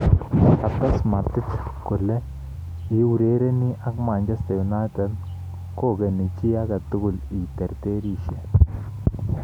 Kotees Matic kole, " iurereni ak Manchester United kogeni chi agetugul i terterisye".